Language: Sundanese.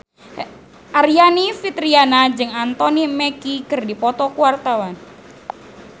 Aryani Fitriana jeung Anthony Mackie keur dipoto ku wartawan